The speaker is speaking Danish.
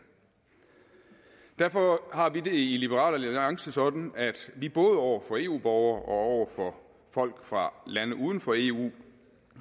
derfor har vi det i liberal alliance sådan at vi både over for eu borgere og over for folk fra lande uden for eu